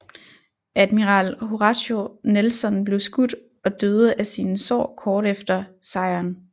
Admiral Horatio Nelson blev skudt og døde af sine sår kort efter sejren